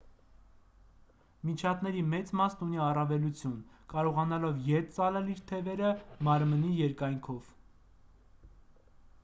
միջատների մեծ մասն ունի առավելություն կարողանալով ետ ծալել իր թևերը մարմնի երկայնքով